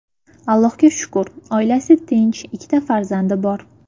Allohga shukr, oilasi tinch, ikkita farzandi bor.